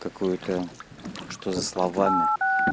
какую-то что за словами